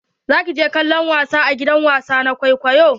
Za ki je kallon wasa a gidan wasa na kwaikwayo?